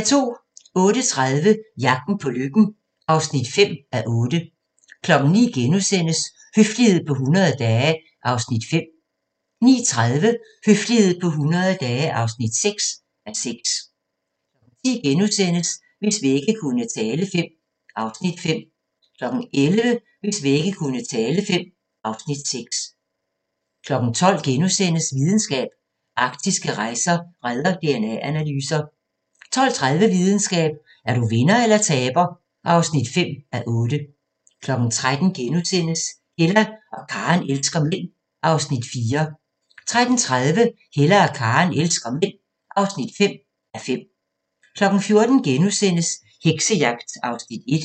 08:30: Jagten på lykken (5:8) 09:00: Høflighed på 100 dage (5:6)* 09:30: Høflighed på 100 dage (6:6) 10:00: Hvis vægge kunne tale V (Afs. 5)* 11:00: Hvis vægge kunne tale V (Afs. 6) 12:00: Videnskab: Arktiske rejer redder DNA-analyser (4:8)* 12:30: Videnskab: Er du vinder eller taber (5:8) 13:00: Hella og Karen elsker mænd (4:5)* 13:30: Hella og Karen elsker mænd (5:5) 14:00: Heksejagt (1:3)*